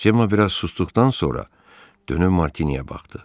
Cemma biraz susduqdan sonra dönüb Martiniyə baxdı.